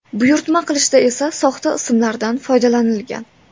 Buyurtma qilishda esa soxta ismlardan foydalanilgan.